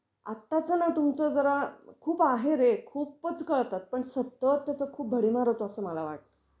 आताचं ना तुमचं जरा खूप आहे रे, खूपच करतात पण सतत त्याचा खूप भडीमार होतो अस मला वाटत.